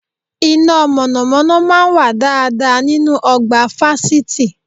Iná mọ̀nàmọ́ná máa ń wà dáadáa nínú ọgbà fásitì